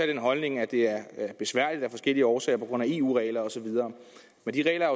den holdning at det er besværligt af forskellige årsager på grund af eu regler og så videre men de regler er